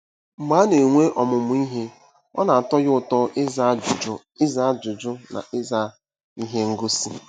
Mgbe a na-enwe ọmụmụ ihe, ọ na-atọ ya ụtọ ịza ajụjụ ịza ajụjụ na ịza ihe ngosi.